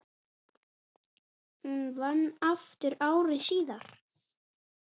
Hún vann aftur ári síðar.